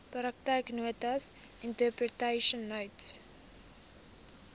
praktyknotas interpretation notes